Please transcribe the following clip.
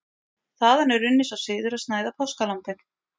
Þaðan er runninn sá siður að snæða páskalambið.